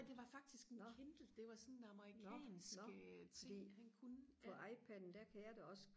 nej det var faktisk en Kindle det var sådan en amerikansk øh ting han kunne ja